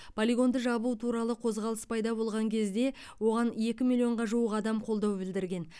полигонды жабу туралы қозғалыс пайда болған кезде оған екі миллион жуық адам қолдау білдірген